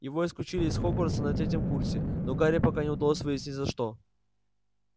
его исключили из хогвартса на третьем курсе но гарри пока не удалось выяснить за что